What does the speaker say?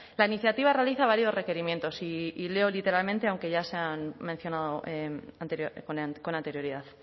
la iniciativa realiza varios requerimientos y leo literalmente aunque ya se han mencionado con anterioridad